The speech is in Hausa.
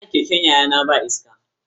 Tayar keken yayana ba iska.